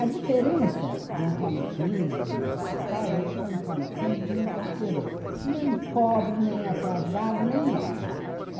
A diferença do Antônio Cândido nessa história é que o Antônio Cândido não considerou nem pobre, nem atrasado, nem nada.